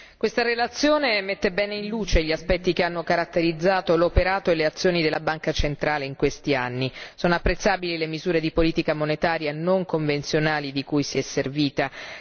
Signora Presidente, onorevoli colleghi, questa relazione mette bene in luce gli aspetti che hanno caratterizzato l'operato e le azioni della Banca centrale in questi anni. Sono apprezzabili le misure di politica monetaria non convenzionali di cui si è servita.